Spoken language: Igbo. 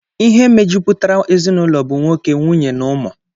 Ihe mejupụtara ezinụlọ bụ nwoke, nwunye na ụmụ